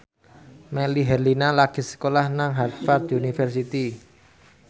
Melly Herlina lagi sekolah nang Harvard university